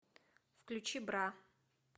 включи бра